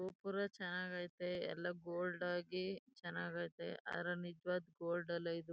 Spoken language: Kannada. ಗೋಪುರ ಚೆನ್ನಾಗೈತೆ ಎಲ್ಲ ಗೋಲ್ಡ್ ಆಗಿ ಚೆನ್ನಾಗೈತೆ ಆದ್ರೆ ನಿಜ್ವಾದ್ ಗೋಲ್ಡ್ ಅಲ್ಲ ಇದು--